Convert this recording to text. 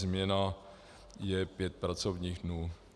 Změna je pět pracovních dnů.